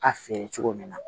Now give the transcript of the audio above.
A feere cogo min na